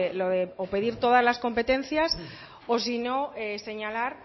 lo de o pedir todas las competencias o sino señalar